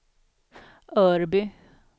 Örby